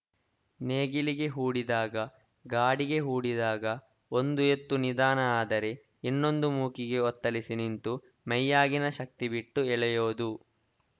ನೇಗಿಲಿಗೆ ಹೂಡಿದಾಗ ಗಾಡಿಗೆ ಹೂಡಿದಾಗ ಒಂದು ಎತ್ತು ನಿಧಾನ ಆದರೆ ಇನ್ನೊಂದು ಮೂಕಿಗೆ ಒತ್ತಲಿಸಿ ನಿಂತು ಮೈಯಾಗಿನ ಶಕ್ತಿಬಿಟ್ಟು ಎಳೆಯೋದು